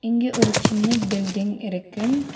இங்க ஒரு சின்ன பில்டிங் இருக்கு.